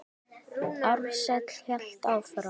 Ársæll hélt áfram.